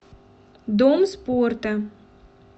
дом спорта